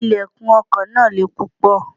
Ilẹ̀kùn ọkọ̀ náà le púpọ̀.